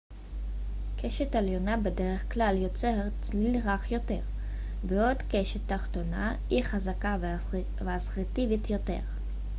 קשת עליונה בדרך כלל יוצרת צליל רך יותר בעוד קשת תחתונה היא חזקה ואסרטיבית יותר